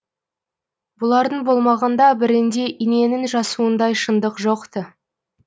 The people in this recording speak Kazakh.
бұлардың болмағанда бірінде иненің жасуындай шындық жоқ ты